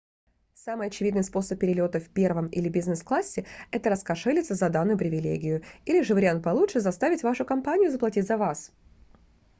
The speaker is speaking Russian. самый очевидный способ перелёта в первом или бизнес-классе — это раскошелиться за данную привилегию или же — вариант получше — заставить вашу компанию заплатить за вас